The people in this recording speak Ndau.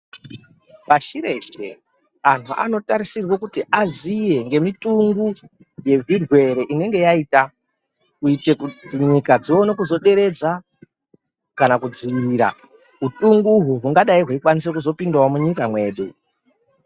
Pashi reshe ,antu anotarisirwa kuti aziye, ngemitungu yezvirwere inenge yaita, kuyite kuti dzimwe nyika dzione kuzoderedza kana kudzivirira utunguho hungadayi hweyikwanisa kuzopindawo munyika mwedu.